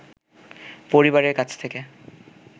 পরিবারের কাছ থেকে